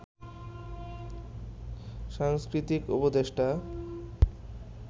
সাংস্কৃতিক উপদেষ্টা